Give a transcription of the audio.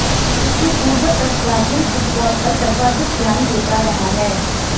इससे पूर्व तक ब्राजील फुटबाल पर सर्वाधिक ध्यान देता रहा है